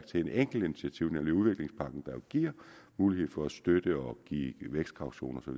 til et enkelt initiativ nemlig udviklingspakken der jo giver mulighed for at støtte og give vækstkautioner og